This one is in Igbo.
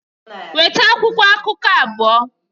Weta akwụkwọ akụkọ abụọ!